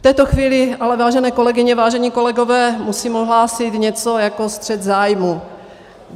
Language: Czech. V této chvíli ale vážené kolegyně, vážení kolegové, musím ohlásit něco jako střet zájmů.